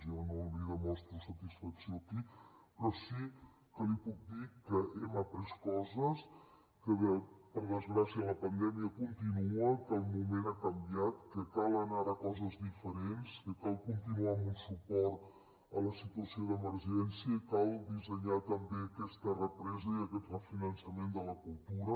jo no li demostro satisfacció aquí però sí que li puc dir que hem après coses que per desgràcia la pandèmia continua que el moment ha canviat que cal anar ara a coses diferents que cal continuar amb un suport a la situació d’emergència i cal dissenyar també aquesta represa i aquest refinançament de la cultura